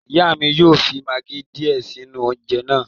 Ìyá mi yóò fi magí díè sínú oúnjẹ náà